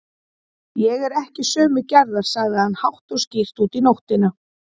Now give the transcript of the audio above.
Ég er ekki sömu gerðar, sagði hann hátt og skýrt út í nóttina.